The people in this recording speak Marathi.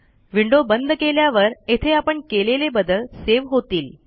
विंडो बंद केल्यावर येथे आपण केलेले बदल सेव्ह होतील